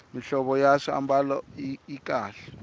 mihlovo ya swiambalo yi kahle